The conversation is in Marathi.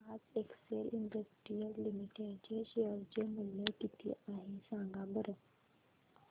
आज एक्सेल इंडस्ट्रीज लिमिटेड चे शेअर चे मूल्य किती आहे सांगा बरं